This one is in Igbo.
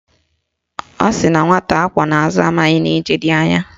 Ọ sịrị na nwata akwọ n'azụ amaghị na ije dị anya